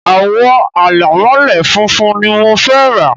àwo àlẹ̀mọ́lẹ̀ funfun ni mo fẹ́ rà